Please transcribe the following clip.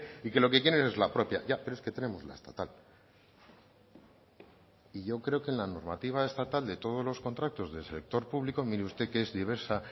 y que lo que quieren es la propia ya pero es que tenemos la estatal y yo creo que en la normativa estatal de todos los contratos del sector público mire usted que es diversa